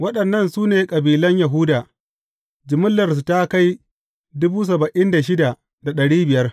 Waɗannan su ne kabilan Yahuda; jimillarsu ta kai